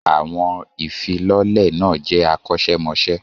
Àwọn ìfilọ́lẹ̀ náà jẹ́ akọ́ṣẹ́mọṣẹ́.